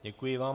Děkuji vám.